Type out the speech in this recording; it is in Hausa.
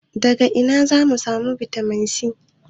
Daga ina za mu samu bitamin C?